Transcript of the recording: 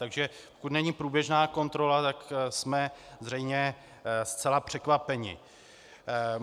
Takže pokud není průběžná kontrola, tak jsme zřejmě zcela překvapeni.